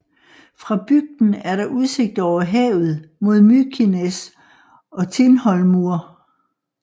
Fra bygden er der udsigt over havet mod Mykines og Tindhólmur